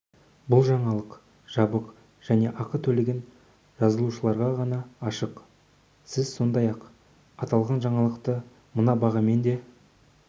бұл жаңалық жабық және ақы төлеген жазылушыларға ғана ашық сіз сондай-ақ аталған жаңалықты мына бағамен де